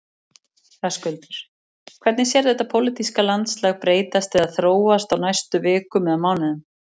Höskuldur: Hvernig sérðu þetta pólitíska landslag breytast eða þróast á næstu vikum eða mánuðum?